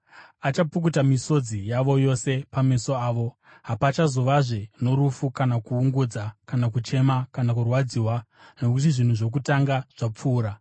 Achapukuta misodzi yavo yose pameso avo. Hapachazovazve norufu, kana kuungudza, kana kuchema, kana kurwadziwa, nokuti zvinhu zvokutanga zvapfuura.”